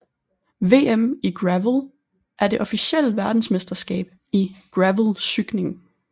VM i gravel er det officielle verdensmesterskab i gravelcykling